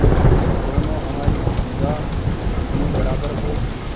दोनों हमारी निगाह में बराबर हो